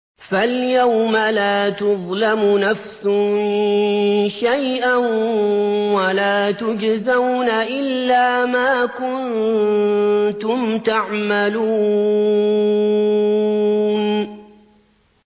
فَالْيَوْمَ لَا تُظْلَمُ نَفْسٌ شَيْئًا وَلَا تُجْزَوْنَ إِلَّا مَا كُنتُمْ تَعْمَلُونَ